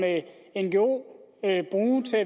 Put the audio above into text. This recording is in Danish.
ngo bruge til